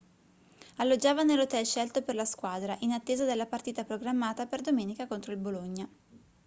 alloggiava nell'hotel scelto per la squadra in attesa della partita programmata per domenica contro il bologna